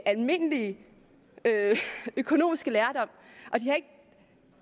almindelige økonomiske lærdom